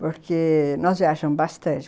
porque nós viajamos bastante.